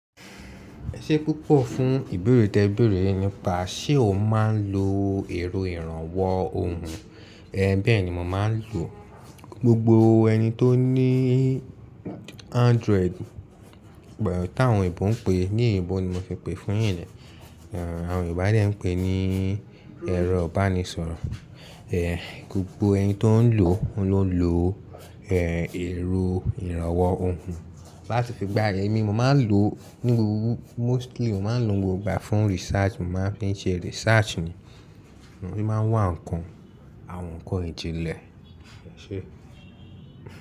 Ẹ ṣé púpọ̀ fún ìbéèrè tẹ ìbéèrè ni pa. Ṣé o máa ń lo ẹ̀rọ ìrànwọ́ ohùn? É, bẹ́ẹ̀ ni mo máa ń lò. Gbogbo ẹni tó ní Android, bẹ́ẹ̀ tí àwọn òyìnbó ń pè é, ní òyìnbó ni mo fi pè é fún yín yen. Àwọn Yorùbá dẹ̀ ń pè é ní ẹ̀rọ ìbánisọ̀rọ̀. É, gbogbo ẹni tó ń lò ó, ló ń lo, é, ero ìrànwọ́ ohùn láti fi gbà yemi. Mo máa ń lò ó huuu mostly, mo máa ń lò ó gbogbo ígbà fún research. Mo máa ń fi ń ṣe research ni. Ó n máa wá ǹkan, àwọn ǹkan ìjìnlẹ̀. Ẹ̀ṣé.